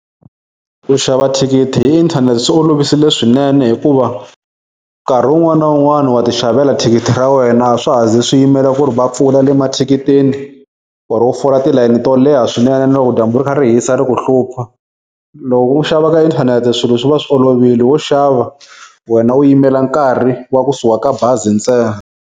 Ku xava thikithi hi inthanete swi olovisile swinene hikuva nkarhi wun'wana na wun'wana wa ti xavela thikithi ra wena a swa ha zi swi yimela ku ri va pfula le mathikitini or-o u fola tilayeni to leha swinene na loko dyambu ri kha ri hisa ri ku hlupha. Loko u xava ka inthanete swilo swi va swi olovile wo xava wena u yimela nkarhi wa kusuka ka bazi ntse.